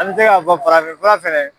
An mɛ se ka fɔ farafinfura fɛnɛ